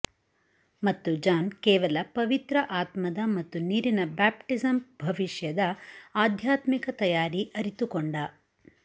ಮತ್ತು ಜಾನ್ ಕೇವಲ ಪವಿತ್ರ ಆತ್ಮದ ಮತ್ತು ನೀರಿನ ಬ್ಯಾಪ್ಟಿಸಮ್ ಭವಿಷ್ಯದ ಆಧ್ಯಾತ್ಮಿಕ ತಯಾರಿ ಅರಿತುಕೊಂಡ